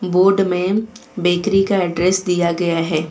Board में bakery का address दिया गया है।